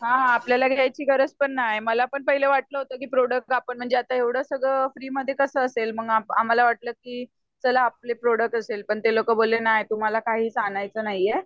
हा आपल्याला घ्यायची गरज पण नाय मला पण वाटला होतं की प्रोडक्ट एवढं सगळं फ्रीमध्ये कसं असेल मग आम्हाला वाटल की चला आपले प्रोड़क्ट असेल पण ते म्हणाले की तुम्हाला काहीच आणायच नाहीये